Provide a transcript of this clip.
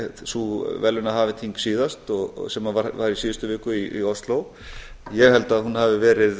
sú verðlaunaafhendingin síðast sem var í síðustu viku í ósló ég held að hún hafi verið